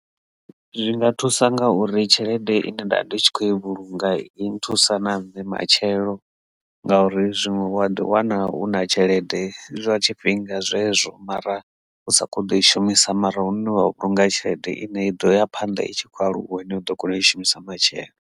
Zwinga thusa ngauri tshelede ine nda vha ndi tshi kho i vhulunga i nthusa na nṋe matshelo ngauri zwiṅwe wa ḓiwana u na tshelede zwa tshifhinga zwezwo mara u sa kho to i shumisa mara hune wa vhulunga tshelede ine i ḓo ya phanḓa i tshi khou aluwa ine u ḓo kona u i shumisa matshelo.